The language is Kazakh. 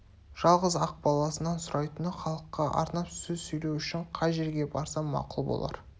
жалғыз-ақ баласынан сұрайтыны халыққа арнап сөз сөйлеу үшін қай жерге барсам мақұл болар